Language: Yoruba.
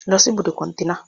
lọ́ si ibùdó kọ̀ntẹ́nà!